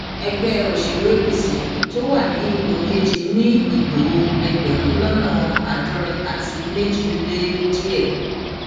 ẹgbẹ òṣèlú apc wà ní ipò kejì ni ìbò ẹgbẹrún lọnà àádọrin àti méjì lé díẹ